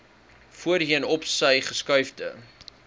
voorheen opsy geskuifde